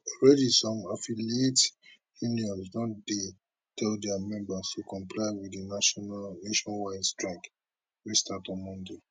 some affiliate unions don dey tell dia members to comply wit di national nationwide strike wey start on monday